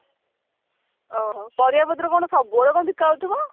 ଓ ହୋ ପାରିବା ପତ୍ର କଣ ସବୁବେଳେ କଣ ବିକା ଆସୁଥିବ